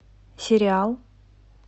сериал